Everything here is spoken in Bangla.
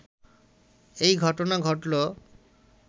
এই ঘটনা ঘটল